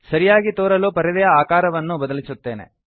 ಸರಿಯಾಗಿ ತೋರಲು ಪರದೆಯ ಆಕಾರವನ್ನು ಬದಲಿಸುತ್ತೇನೆ